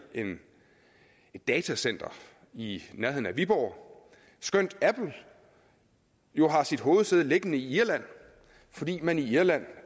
et datacenter i nærheden af viborg skønt apple jo har sit hovedsæde liggende i irland fordi man i irland